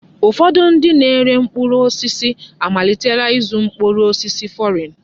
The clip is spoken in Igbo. Ụfọdụ ndị na-ere mkpụrụ osisi amalitela ịzụ mkpụrụ osisi fọrịn.